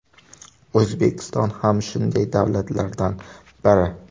O‘zbekiston ham shunday davlatlardan biri.